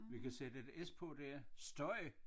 Vi kan sætte et S på der støj